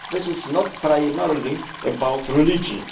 This is not primarily about religion.